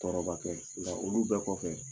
Tɔɔrɔ ma kɛ nka olu bɛɛ kɔfɛ